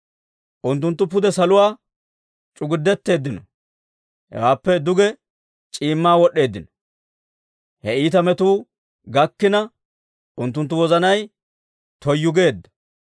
Unttunttu pude saluwaa c'ugudetteeddino; hewaappe duge c'iimmaa wod'd'eeddino. He iita metuu gakkina, unttunttu wozanay toyyu geedda.